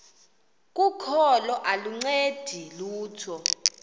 kokholo aluncedi lutho